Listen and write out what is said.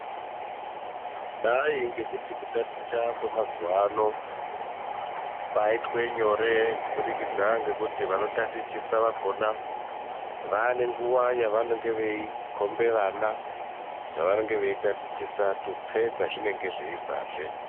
Kudai ngekuti kutaticha kwemazuva ano kwaitanhore kuburikidza ngekuti vanhu vanotatichisa vakona vane nguwa yekukomna vana tutse kwazvinombobvazve.